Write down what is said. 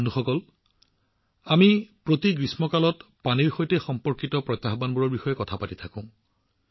বন্ধুসকল আমি প্ৰতিটো গ্ৰীষ্মকালত পানীৰ সৈতে সম্পৰ্কিত প্ৰত্যাহ্বানবোৰৰ বিষয়ে কথা পাতো